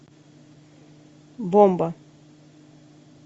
бомба